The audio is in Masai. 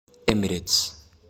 Emirates